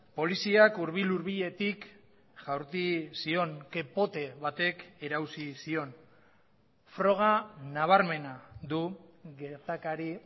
poliziak hurbil hurbiletik jaurti zion ke pote batek erauzi zion froga nabarmena du gertakari